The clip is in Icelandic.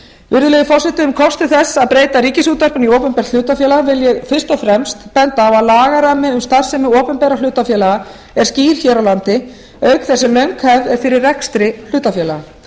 virðulegi forseti um kosti þess að breyta ríkisútvarpinu í opinbert hlutafélag vil ég fyrst og fremst benda á að lagarammi um starfsemi opinberra hlutafélaga er skýr hér á landi auk þess sem löng hefð er fyrir rekstri hlutafélaga